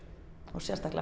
og sérstaklega